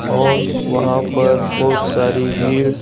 और वहां पर बहुत सारी भीड़--